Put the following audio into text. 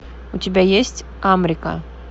у тебя есть амрика